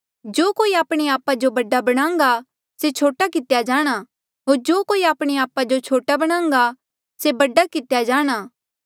जो कोई आपणे आपा जो बडा बणाहंगा से छोटा कितेया जाणां होर जो कोई आपणे आपा जो छोटा बणान्घा से बडा कितेया जाणा